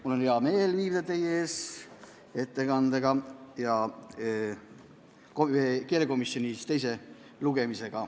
Mul on hea meel viibida teie ees ettekandega.